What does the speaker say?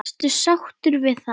Varstu sáttur við það?